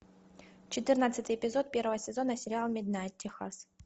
четырнадцатый эпизод первого сезона сериал миднайт техас